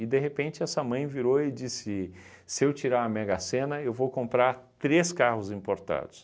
de repente, essa mãe virou e disse, se eu tirar a mega-sena, eu vou comprar três carros importados.